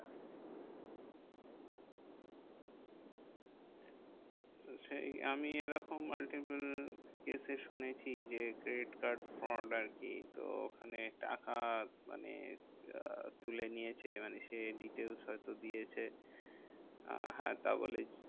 সেই আমি এরকম multiple case এ শুনেছি যে, credit card fraud আর কি? তো ওখানে টাকা মানে তুলে নিয়েছে মানে সে details দিয়েছে, হ্যাঁ তা বলে